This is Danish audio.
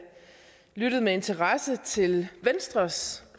lyttede med interesse til venstres